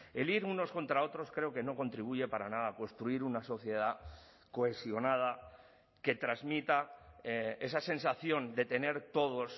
el ir unos contra otros creo que no contribuye para nada a construir una sociedad cohesionada que transmita esa sensación de tener todos